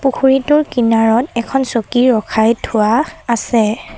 পুখুৰীটোৰ কিনাৰত এখন চকী ৰখাই থোৱা আছে।